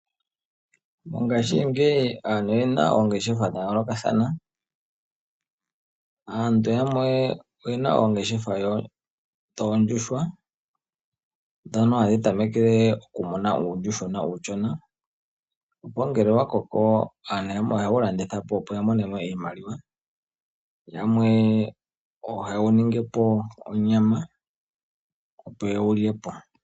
Mongashingeyi aantu oyena oongeshefa dhayoolokathana. Aantu yamwe oyena oongeshefa dhoondjuhwa, ndhono hadhi tamekele okumuna uuyuhwena uushona. Opo ngele wakoko aantu yamwe ohaye wulanditha po opo yamone mo iimaliwa, yamwe ohaye wuningi po onyama opo ye wulye po.